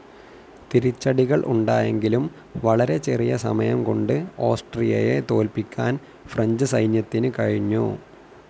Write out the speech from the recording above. തിരിച്ചടികൾ ഉണ്ടായെങ്കിലും വളരെ ചെറിയ സമയം കൊണ്ട് ഓസ്ട്രിയയെ തോൽപ്പിക്കാൻ ഫ്രഞ്ച്‌ സൈന്യത്തിനു കഴിഞ്ഞു.